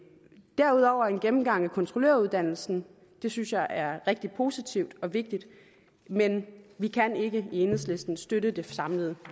gennemgang af kontrolløruddannelsen det synes jeg er rigtig positivt og vigtigt men vi kan ikke i enhedslisten støtte det samlede